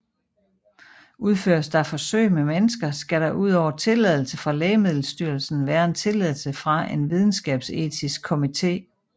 Udføres der forsøg med mennesker skal der udover tilladelse fra Lægemiddelstyrelsen være en tilladelse fra en videnskabsetisk komité